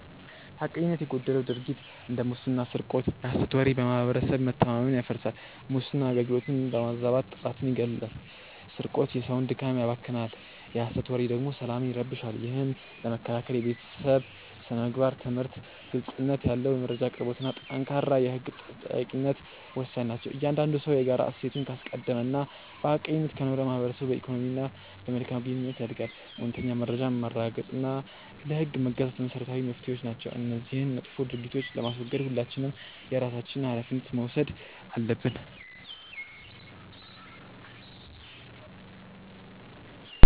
ሐቀኝነት የጎደለው ድርጊት እንደ ሙስና ስርቆት የሐሰት ወሬ በማህበረሰብ መተማመንን ያፈርሳል። ሙስና አገልግሎትን በማዛባት ጥራትን ይገድላል ስርቆት የሰውን ድካም ያባክናል የሐሰት ወሬ ደግሞ ሰላምን ይረብሻል። ይህን ለመከላከል የቤተሰብ ስነ-ምግባር ትምህርት፣ ግልጽነት ያለው የመረጃ አቅርቦትና ጠንካራ የህግ ተጠያቂነት ወሳኝ ናቸው። እያንዳንዱ ሰው የጋራ እሴትን ካስቀደመና በሐቀኝነት ከኖረ ማህበረሰቡ በኢኮኖሚና በመልካም ግንኙነት ያድጋል። እውነተኛ መረጃን ማረጋገጥና ለህግ መገዛት መሰረታዊ መፍትሄዎች ናቸው። እነዚህን መጥፎ ድርጊቶች ለማስወገድ ሁላችንም የየራሳችንን ሃላፊነት መውሰድ አለብን።